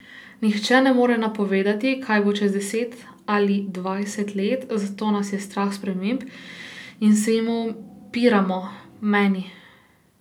Nihče ne more napovedati, kaj bo čez deset ali dvajset let, zato nas je strah sprememb in se jim upiramo, meni.